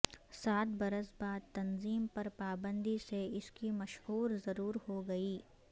سات برس بعد تنظیم پر پابندی سے اس کی مشہوری ضرور ہوگئی